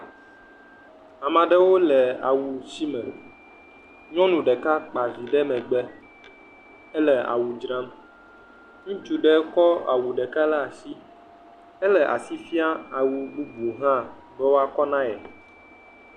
Ame aɖewo le awusime, nyɔnu ɖeka kpa vi ɖe megbe. Ele awu dzram, ŋutsu aɖe tsɔ awu ɖe asi ele asi fiam awu bubu be woakɔ na ye.